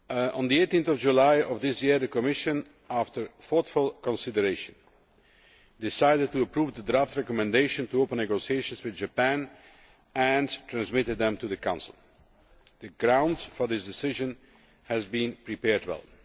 On 18 July of this year the Commission, after thoughtful consideration, decided to approve the draft recommendation to open negotiations with Japan and transmitted this to the Council. The ground for this decision has been prepared well.